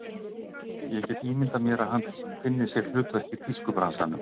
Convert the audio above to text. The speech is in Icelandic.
Ég get ímyndað mér að hann finni sér hlutverk í tískubransanum.